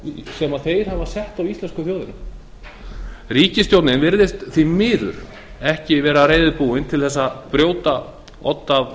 sem þeir hafa sett á íslensku þjóðina ríkisstjórnin virðist því miður ekki vera reiðubúin til þess að brjóta odd af